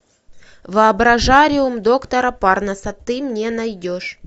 воображариум доктора парнаса ты мне найдешь